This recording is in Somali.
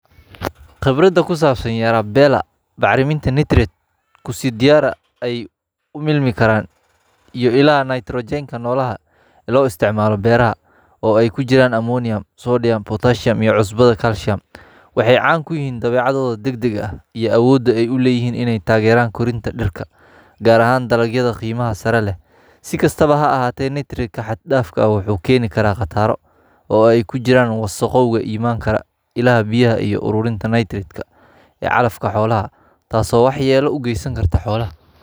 Bacrimiyeyaashu waa walxo muhiim ah oo kaalin weyn ka ciyaara kobcinta iyo horumarinta dalagyada beeraha, iyadoo la siinayo dhulka nafaqooyin muhiim ah oo dhirta u sahla inay si wanaagsan u koraan ugana badbaadaan cudurada iyo xaaladaha cimilada adag. Isticmaalka bacrimiyeyaasha saxda ah ayaa kor u qaada tayada iyo tirada dalagyada.